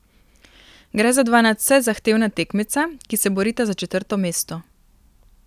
Gre za dva nadvse zahtevna tekmeca, ki se borita za četrto mesto.